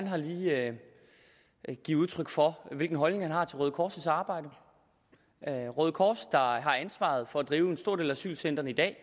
har lige givet udtryk for hvilken holdning han har til røde kors’ arbejde røde kors der har ansvaret for at drive en stor del af asylcentrene i dag